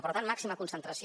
per tant màxima concentració